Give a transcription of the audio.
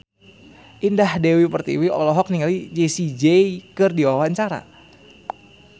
Indah Dewi Pertiwi olohok ningali Jessie J keur diwawancara